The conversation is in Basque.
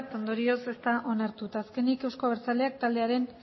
ondorioz ez da onartu eta azkenik euzko abertzaleak taldearen